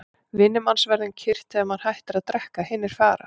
Vinir manns verða um kyrrt þegar maður hættir að drekka, hinir fara.